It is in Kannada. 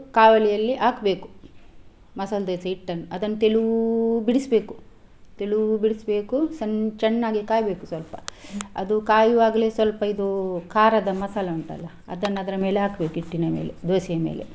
ಕಾವಲಿಯಲ್ಲಿ ಹಾಕ್ಬೇಕು ಮಸಾಲಾ ದೋಸಾ ಹಿಟ್ಟನ್ನು ಅದನ್ನು ತೆಳೂ ಬಿಡಿಸ್ಬೇಕು ತೆಳೂ ಬಿಡಿಸ್ಬೇಕು ಸಣ್ಣ ಚಣ್ಣಾಗಿ ಕಾಯ್ಬೇಕು ಸ್ವಲ್ಪ ಅದು ಕಾಯುವಾಗಲೇ ಸ್ವಲ್ಪ ಇದು ಖಾರದ ಮಸಾಲೆ ಉಂಟಲ್ಲ ಅದನ್ನು ಅದ್ರ ಮೇಲೆ ಹಾಕ್ಬೇಕು ಹಿಟ್ಟಿನ ಮೇಲೆ ದೋಸಾ ಯ ಮೇಲೆ.